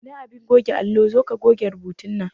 Ina abin goge allo, zoka goge rubutu nan